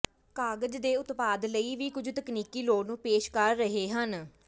ਕਾਗਜ਼ ਦੇ ਉਤਪਾਦ ਲਈ ਵੀ ਕੁਝ ਤਕਨੀਕੀ ਲੋੜ ਨੂੰ ਪੇਸ਼ ਕਰ ਰਹੇ ਹਨ